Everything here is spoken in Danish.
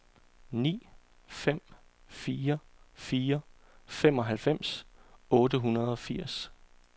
ni fem fire fire femoghalvfems otte hundrede og firs